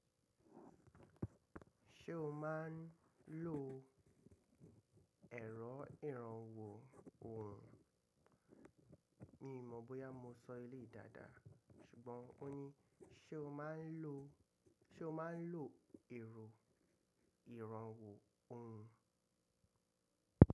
Ṣé o máa ń lo ẹ̀rọ ìrànwọ́ ohùn? Mi ò mọ̀ bóyá mo sọ elèyìí dáadáa, ṣùgbọ́n ó ni. Ṣé o máa ń lo, ṣe o máa ń lo ẹ̀rọ ìrànwọ́ ohùn?